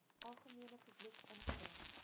algemene publiek ingebring